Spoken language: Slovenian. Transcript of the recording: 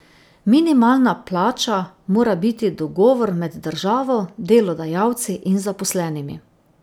Minimalna plača mora biti dogovor med državo, delodajalci in zaposlenimi.